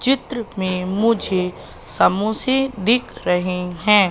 चित्र में मुझे समोसे दिख रहे हैं।